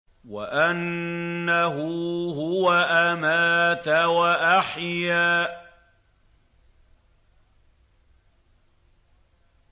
وَأَنَّهُ هُوَ أَمَاتَ وَأَحْيَا